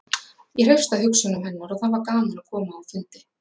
Ég hreifst af hugsjónum hennar og það var gaman að koma á fundi.